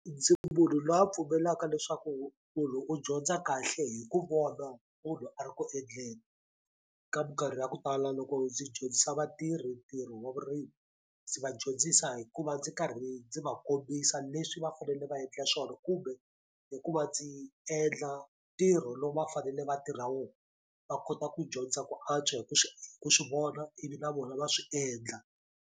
Ndzi munhu lwa pfumelelaka leswaku munhu u dyondza kahle hi ku vona munhu loyi a ri ku endleni ka minkarhi ya ku tala loko ndzi dyondzisa vatirhi ntirho wa vurimi ndzi va dyondzisa hikuva ndzi karhi ndzi va kombisa leswi va fanele va endla swona kumbe hi ku va ndzi endla ntirho lowu va fanele va tirha wo va kota ku dyondza ku antswa hi ku swi ku swi vona ivi na vona va swi endla.